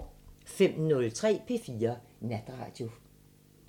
05:03: P4 Natradio